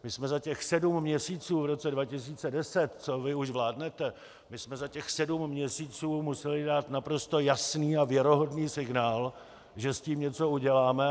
My jsme za těch sedm měsíců v roce 2010, co vy už vládnete, my jsme za těch sedm měsíců museli dát naprosto jasný a věrohodný signál, že s tím něco uděláme.